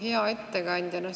Hea ettekandja!